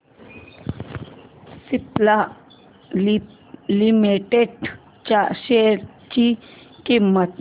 Cipla limited च्या share ची किंमत